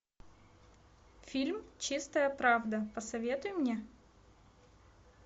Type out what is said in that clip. фильм чистая правда посоветуй мне